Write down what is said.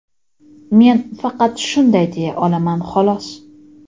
Men faqat shunday deya olaman xolos.